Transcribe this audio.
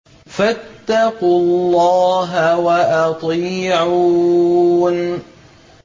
فَاتَّقُوا اللَّهَ وَأَطِيعُونِ